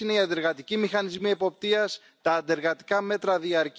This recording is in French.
Or, les affaires étrangères sont le dernier pouvoir et bastion régalien des nations.